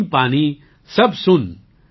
બિન પાની સબ સૂન